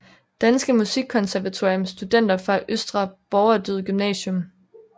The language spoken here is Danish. Danske Musikkonservatorium Studenter fra Østre Borgerdyd Gymnasium